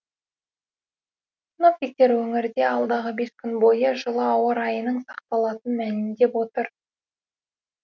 синоптиктер өңірде алдағы бес күн бойы жылы ауа райының сақталатынын мәлімдеп отыр